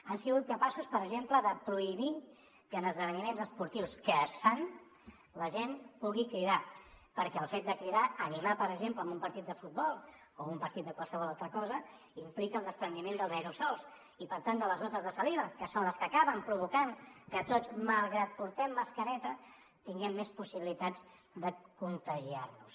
han sigut capaços per exemple de prohibir que en esdeveniments esportius que es fan la gent pugui cridar perquè el fet de cridar animar per exemple en un partit de futbol o un partit de qualsevol altra cosa implica el despreniment dels aerosols i per tant de les gotes de saliva que són les que acaben provocant que tots malgrat que portem mascareta tinguem més possibilitats de contagiar nos